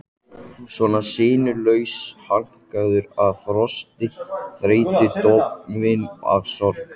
Svona sinnulaus, vankaður af frosti, þreytu, dofinn af sorg.